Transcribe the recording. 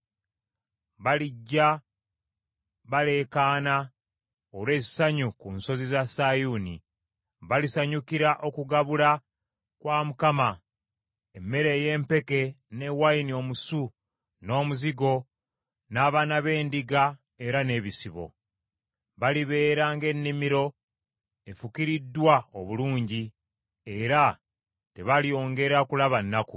Balijja baleekaana olw’essanyu ku nsozi za Sayuuni; balisanyukira okugabula kwa Mukama : emmere ey’empeke, ne wayini omusu, n’omuzigo, n’abaana b’endiga era n’ebisibo. Balibeera ng’ennimiro efukiririddwa obulungi, era tebalyongera kulaba nnaku.